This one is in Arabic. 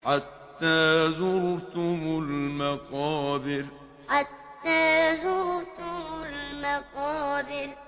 حَتَّىٰ زُرْتُمُ الْمَقَابِرَ حَتَّىٰ زُرْتُمُ الْمَقَابِرَ